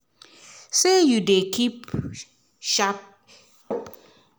say you dey keep sharp